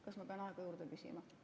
Kas ma pean aega juurde küsima?